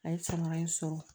A ye sama in sɔrɔ